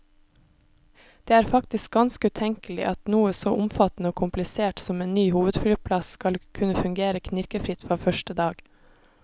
Det er faktisk ganske utenkelig at noe så omfattende og komplisert som en ny hovedflyplass skal kunne fungere knirkefritt fra første dag.